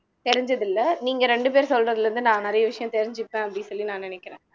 தெரிஞ்சதில்ல நீங்க ரெண்டு பேர் சொல்றதுல இருந்து நான் நிறைய விஷயம் தெரிஞ்சுப்பேன் அப்படின்னு சொல்லி நான் நினைக்கிறேன்